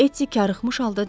Etti qarıxmış halda dedi.